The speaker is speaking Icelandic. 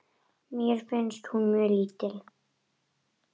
Mér finnst hún mjög lítil.